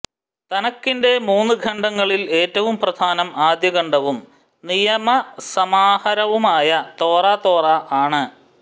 തനക്കിന്റെ മൂന്നു ഖണ്ഡങ്ങളിൽ എറ്റവും പ്രധാനം ആദ്യഖണ്ഡവും നിയമസമാഹാരവുമായ തോറ തോറ ആണ്